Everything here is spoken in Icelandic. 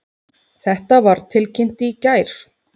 Þetta var tilkynnt í gær